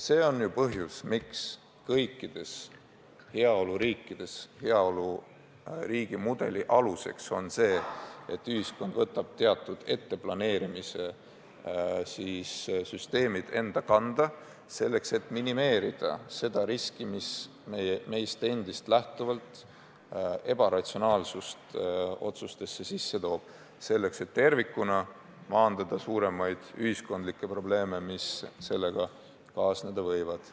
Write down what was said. See on ka põhjus, miks heaoluriigi mudeli aluseks on see, et ühiskond võtab teatud planeerimissüsteemid enda kanda, minimeerimaks riski, mis meist endast lähtuvalt toob otsustesse sisse ebaratsionaalsust, selleks et tervikuna maandada suuremaid ühiskondlikke probleeme, mis muidu kaasneda võivad.